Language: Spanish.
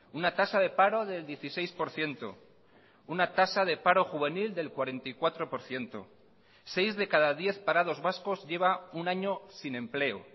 una tasa de paro del dieciséis por ciento una tasa de paro juvenil del cuarenta y cuatro por ciento seis de cada diez parados vascos lleva un año sin empleo